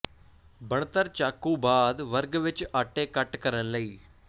ਬਣਤਰ ਚਾਕੂ ਬਾਅਦ ਵਰਗ ਵਿੱਚ ਆਟੇ ਕੱਟ ਕਰਨ ਲਈ